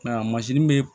bɛ